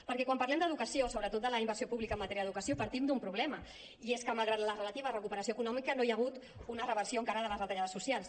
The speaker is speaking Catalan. perquè quan parlem d’educació sobretot de la inversió pública en matèria d’educació partim d’un problema i és que malgrat la relativa recuperació econòmica no hi ha hagut una reversió encara de les retallades socials